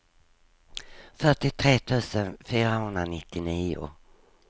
fyrtiotre tusen fyrahundranittionio